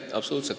Absoluutselt!